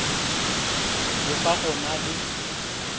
le fa go na le